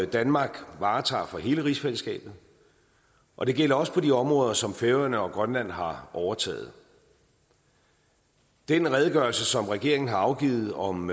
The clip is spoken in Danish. danmark varetager for hele rigsfællesskabet og det gælder også på de områder som færøerne og grønland har overtaget den redegørelse som regeringen har afgivet om